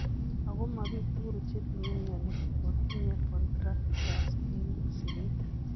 Ako ma biik tugul chetinye mioni kotinye contractures eng' sikeet